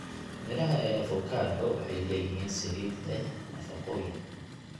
Midhaha ee avokado waxay leeyihiin saliid leh nafaqooyin.